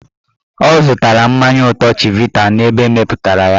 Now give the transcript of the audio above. Ọ zụtara mmanya ụtọ chivita n'ebe emepụtara ya.